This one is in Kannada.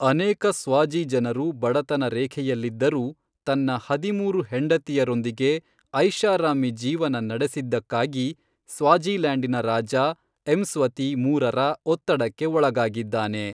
ಅನೇಕ ಸ್ವಾಜಿ ಜನರು ಬಡತನ ರೇಖೆಯಲ್ಲಿದ್ದರೂ ತನ್ನ ಹದಿಮೂರು ಹೆಂಡತಿಯರೊಂದಿಗೆ ಐಷಾರಾಮಿ ಜೀವನ ನಡೆಸಿದ್ದಕ್ಕಾಗಿ ಸ್ವಾಜಿಲ್ಯಾಂಡ್ನ ರಾಜ ಎಮ್ಸ್ವತಿ ಮೂರರ ಒತ್ತಡಕ್ಕೆ ಒಳಗಾಗಿದ್ದಾನೆ.